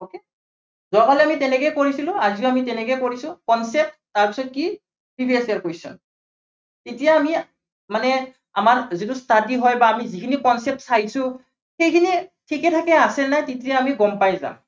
যোৱা কালি আমি তেনেকেই কৰিছিলো। আজিও আমি তেনেকেই কৰিছো। concept তাৰপিছত কি previous year question এতিয়া আমি মানে আমাৰ যিটো study হয় বা আমি যিখিনি concept চাইছো, সেইখিনি ঠিকে ঠাকে আছেনে নাই, তেতিয়া আমি গম পাই যাম।